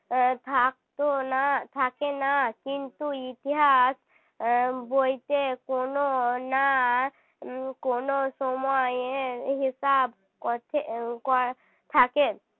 থাকত না থাকে না কিন্তু ইতিহাস বইতে কোনও না কোনও সময় হিসাব করতে কর থাকে